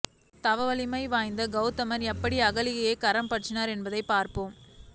தவ வலிமை வாய்ந்த கௌதமர் எப்படி அகலிகையைக் கரம் பற்றினார் என்பதைப் பார்ப்போம்